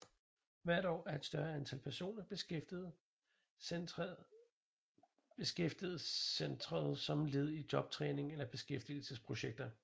Hvert år er et større antal personer beskæftiget centret som led i jobtræning eller beskæftigelsesprojekter